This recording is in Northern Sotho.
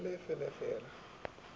fe le le fe la